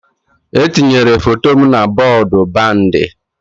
E tinyere foto m na bọọdụ bandi